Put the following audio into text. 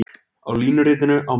Á línuritinu á mynd